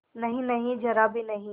नहींनहीं जरा भी नहीं